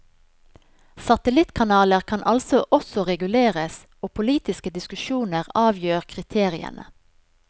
Satellittkanaler kan altså også reguleres, og politiske diskusjoner avgjør kriteriene.